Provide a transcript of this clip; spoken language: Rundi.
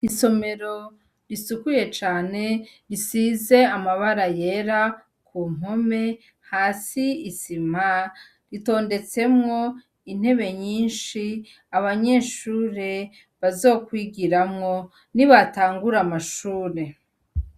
Isomero risukuye cane risize amabara yera kumpome hasi isima , itodetsemwo intebe nyinshi, abanyeshure bazokwigiramwo nibatagura amashuri.